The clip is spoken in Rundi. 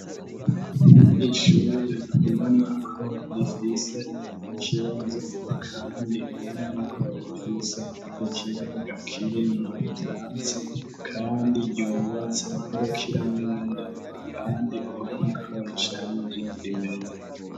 Ishure uba nako rifise ikibazo, kandi huwe nako rifise ikibuga kirimo ivyatsi, kandi ryobatse nkurokiramende handi uba nako risariryo imeze.